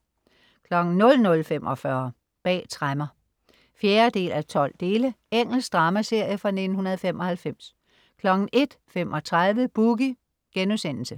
00.45 Bag tremmer 4:!2. Engelsk dramaserie fra 1995 01.35 Boogie*